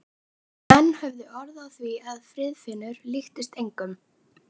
Menn höfðu orð á því að Friðfinnur líktist engum.